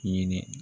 Hinɛ